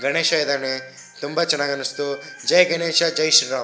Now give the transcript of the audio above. ಗಣೇಶ ಇದ್ದಾನೆ ತುಂಬಾ ಚೆನ್ನಾಗಿ ಅನಿಸ್ತು ಜೈ ಗಣೇಶ ಜೈ ಶ್ರೀ ರಾಮ್.